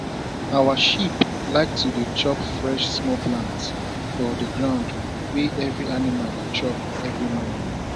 our sheep like to dey chop fresh small plants for the ground wey every animal dey chop every morning